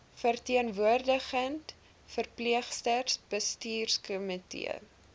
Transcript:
verteenwoordigende verpleegsters bestuurskomitee